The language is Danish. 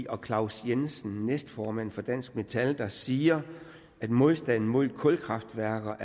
og claus jensen næstformand for dansk metal der siger at modstanden mod kulkraftværker